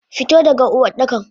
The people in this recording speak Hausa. Fito daga Uwardakan!